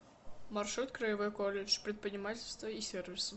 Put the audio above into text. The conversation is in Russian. маршрут краевой колледж предпринимательства и сервиса